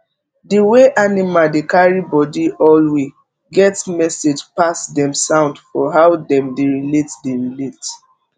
the way animal dey carry body alway get message pass dem sound for how dem dey relate dey relate